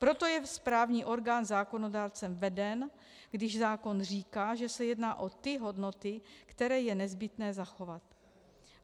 Proto je správní orgán zákonodárcem veden, když zákon říká, že se jedná o ty hodnoty, které je nezbytné zachovat.